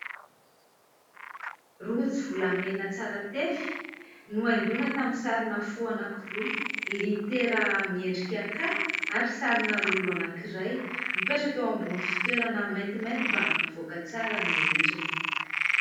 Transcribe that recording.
Rojo volamena tsara tefy nohaingoina tamin'ny sarina fo anankiroa, litera miendrika "K" ary sarina lolo anankiray mipetraka eo ambonin'ny fitoerana maintimainty mba hampivoaka tsara ny endriny.